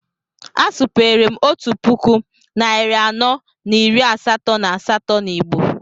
A supere m 1488 na Igbo